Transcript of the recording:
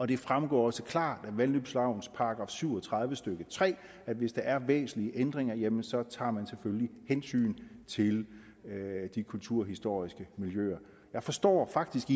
det fremgår også klart af vandløbslovens § syv og tredive stykke tre at hvis der er væsentlige ændringer jamen så tager man selvfølgelig hensyn til de kulturhistoriske miljøer jeg forstår faktisk